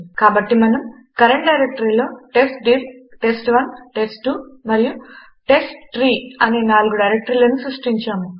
కాబట్టి మనము కరంట్ డైరెక్టరీలో టెస్ట్డిర్ టెస్ట్1 టెస్ట్2 మరియు టెస్ట్ట్రీ అనే నాలుగు డైరెక్టరీలను సృష్టించాము